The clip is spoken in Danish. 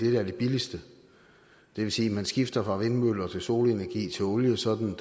er det billigste det vil sige at man skifter fra vindmøller til solenergi til olie sådan at